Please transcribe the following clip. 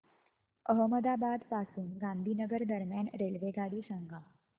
अहमदाबाद पासून गांधीनगर दरम्यान रेल्वेगाडी सांगा